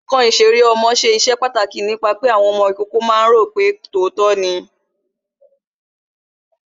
Ǹkan ìṣeré ọmọ ṣe iṣẹ́ pàtàkì nípa pé àwọn ọmọ ìkókó ó máa ro pe tòótọ́ ni